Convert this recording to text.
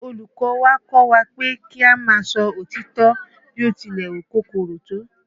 Olùkọ́ ọ wa kọ́ wa pé kí a máa sọ òtítọ́ bí ó tilẹ̀ wù kó korò tó